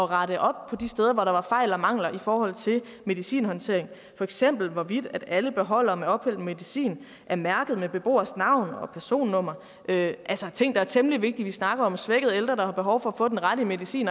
rette op på de steder hvor der var fejl og mangler i forhold til medicinhåndtering for eksempel hvorvidt alle beholdere med ophældt medicin var mærkede med beboeres navn og personnummer altså ting der er temmelig vigtige vi snakker om svækkede ældre der har behov for at få den rette medicin